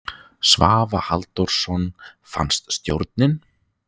Svavar Halldórsson: Fannst stjórnin?